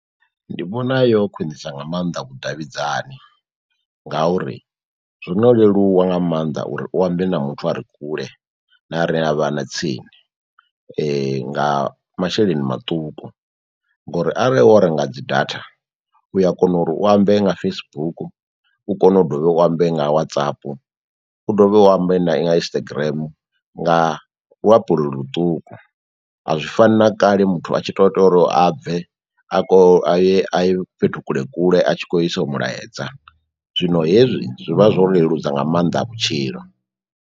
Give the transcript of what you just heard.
Ndi vhona yo khwiṋisa nga mannḓa vhudavhidzani ngauri zwono leluwa nga mannḓa uri u ambe na muthu a re kule na a re a vha tsini nga masheleni maṱuku, ngori arali wo renga dzi data u a kona uri u ambe nga Facebook, u kone u dovhe u ambe nga WhatsApp, u dovhe u ambe na Instagram nga luapulo ḽuṱuku. A zwi fani na kale muthu a tshi to tori a bve a kho a ye a ye fhethu kule kule a tshi khou isa mulaedza zwino hezwi zwi vha zwo leludza nga mannḓa vhutshilo.